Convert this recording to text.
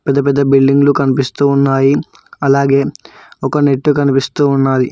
పెద్ద పెద్ద బిల్డింగ్లు కనిపిస్తూ ఉన్నాయి అలాగే ఒక నెట్టు కనిపిస్తూ ఉన్నాది.